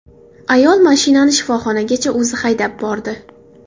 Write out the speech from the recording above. Ayol mashinani shifoxonagacha o‘zi haydab bordi.